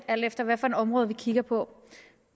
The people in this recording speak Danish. alt efter hvilket område vi kigger på